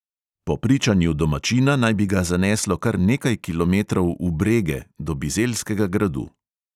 Po pričanju domačina naj bi ga zaneslo kar nekaj kilometrov "v brege," do bizeljskega gradu.